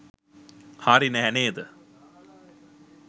හරි නැහැ නේද?